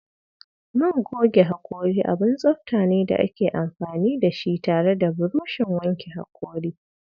Man goge haƙori abun tsafta ne da ake amfani da shi tare da burushin wanke hakori.